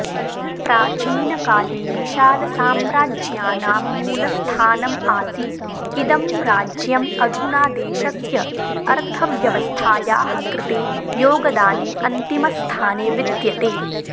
प्राचीनकाले विशालसाम्राज्यानां मूलस्थानम् आसीत् इदं राज्यम् अधुना देशस्य अर्थव्यवस्थायाः कृते योगदाने अन्तिमस्थाने विद्यते